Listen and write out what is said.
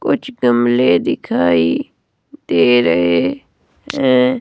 कुछ गमले दिखाई दे रहे है।